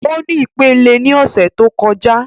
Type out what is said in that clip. O ni ipele ni ọsẹ to kọja